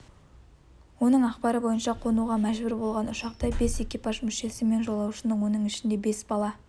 оның ақпары бойынша қонуға мәжбүр болған ұшақта бес экипаж мүшесі мен жолаушы оның ішінде бес бала